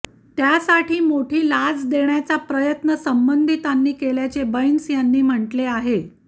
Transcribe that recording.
त्यासाठी मोठी लाच देण्याचा प्रयत्न संबंधितांनी केल्याचे बैंस यांनी म्हटले आहे